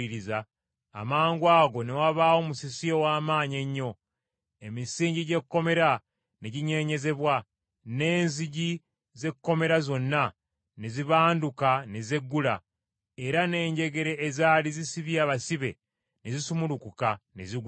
amangwago ne wabaawo musisi ow’amaanyi ennyo. Emisingi gy’ekkomera ne ginyeenyezebwa, n’enzigi z’ekkomera zonna ne zibanduka ne zeggula, era n’enjegere ezaali zisibye abasibe ne zisumulukuka ne zigwa eri!